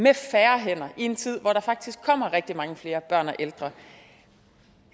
er færre hænder i en tid hvor der faktisk kommer rigtig mange flere børn og ældre